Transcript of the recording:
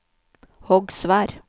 Hogsvær